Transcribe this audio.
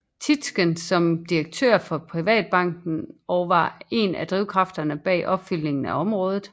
Tietgen som direktør for Privatbanken og var en af drivkræfterne bag opfyldningen af området